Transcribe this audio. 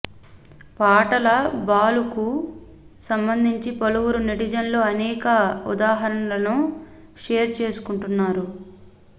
పాటల బాలుకు సంబంధించి పలువురు నెటిజన్లు అనేక ఉదాహరణలను షేర్ చేసుకుంటున్నారు